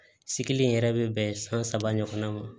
Sigili in yɛrɛ bɛ bɛn san saba ɲɔgɔnna ma